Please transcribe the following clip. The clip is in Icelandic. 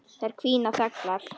Þær hvína þöglar.